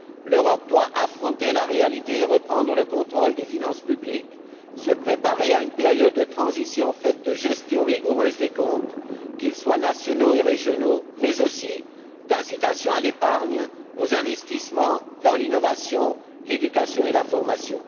L'Europe doit affronter la réalité et reprendre le contrôle des finances publiques, se préparer à une période de transition faite de gestion rigoureuse des comptes, qu'ils soient nationaux ou régionaux, mais aussi d'incitations à l'épargne, aux investissements dans l'innovation, l'éducation et la formation.